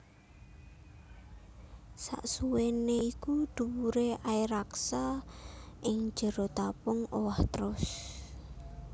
Sasuwèné iku dhuwuré air raksa ing jero tabung owah trus